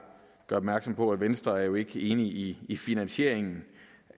gøre opmærksom på at venstre jo ikke er enig i i finansieringen